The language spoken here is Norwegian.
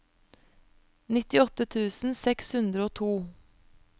nittiåtte tusen seks hundre og to